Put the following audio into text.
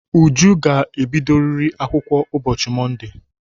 Uju ga-ebidoriri akwụkwọ ụbọchị Monde!